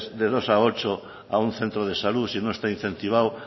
de dos a ocho a un centro de salud si no está incentivado